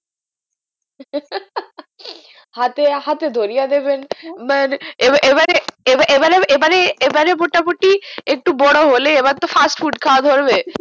হাতে হাতে ধরিয়া দেবেন মানে এবার এবারে এবার এবারে এবারে এবারে মোটা মুটি একটু বড়ো হলে এবার তো fast food খাওয়া ধরবে